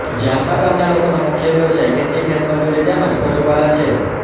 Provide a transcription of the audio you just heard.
જાંબા ગામના લોકોનો મુખ્ય વ્યવસાય ખેતી ખેતમજૂરી તેમ જ પશુપાલન છે